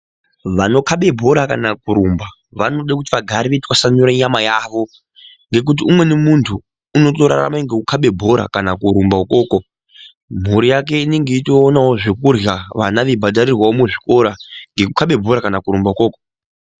Vanokabe bhora kana kurumba vanoda kuti vagare veitwasanure nyama yavo, ngekuti umweni muntu unotorarame ngekukabe bhora kana kurumba ukoko mhuri yake inenge yeitoonawo zvekurya vana veibhadharirwawo muzvikora ngekukabe bhora kana kurumba ukoko.